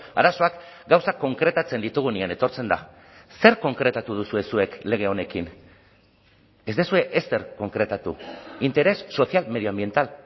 arazoak gauzak konkretatzen ditugunean etortzen da zer konkretatu duzue zuek lege honekin ez duzue ezer konkretatu interés social medioambiental